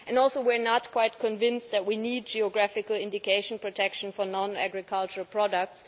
We are also not completely convinced that we need geographical indication protection for non agricultural products.